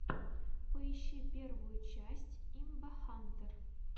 поищи первую часть имбахантэр